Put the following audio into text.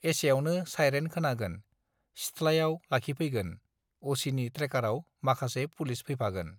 एसेआवनो साइरेन खोनागोन सिथ्लायाव लाखिफैगोन अ सि नि ट्रेकारआव माखासे पुलिस फैफागोन